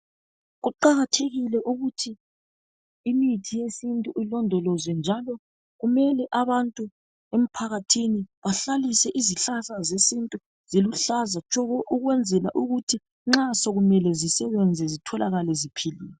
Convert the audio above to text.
Kuqakathekile ukuthi imithi yesintu ilondolozwe njalo kumele abantu emphakathini bahlalise izihlahla zesintu ziluhlaza tshoko ukwenzela ukuthi nxa sokumele zisebenze zitholakale ziphilile.